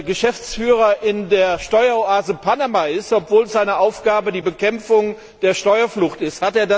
Geschäftsführer in der Steueroase Panama ist, obwohl seine Aufgabe die Bekämpfung der Steuerflucht ist.